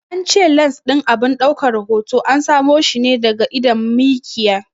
An ce lans ɗin abin daukan hoto an samo shi ne daga idon mikiya.